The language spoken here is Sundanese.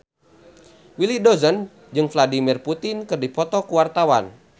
Willy Dozan jeung Vladimir Putin keur dipoto ku wartawan